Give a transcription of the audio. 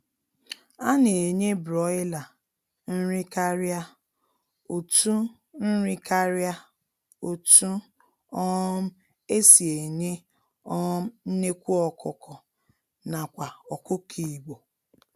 A na-enye Broiler nri karịa otunn nri karịa otunn um e si enye um nnekwu ọkụkọ nakwa ọkụkọ Igbo.